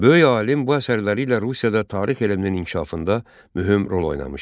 Böyük alim bu əsərləri ilə Rusiyada tarix elminin inkişafında mühüm rol oynamışdı.